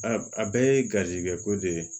A a bɛɛ ye garizigɛ ko de ye